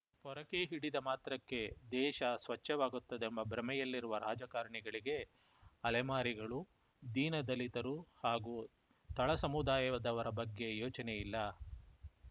ಪೊರಕೆ ಹಿಡಿದ ಮಾತ್ರಕ್ಕೆ ದೇಶ ಸ್ವಚ್ಛವಾಗುತ್ತದೆಂಬ ಭ್ರಮೆಯಲ್ಲಿರುವ ರಾಜಕಾರಣಿಗಳಿಗೆ ಅಲೆಮಾರಿಗಳು ದೀನ ದಲಿತರು ಹಾಗೂ ತಳ ಸಮುದಾಯದವರ ಬಗ್ಗೆ ಯೋಚನೆ ಇಲ್ಲ